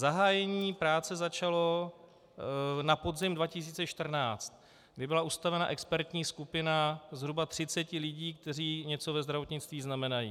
Zahájení práce začalo na podzim 2014, kdy byla ustanovena expertní skupina zhruba 30 lidí, kteří něco ve zdravotnictví znamenají.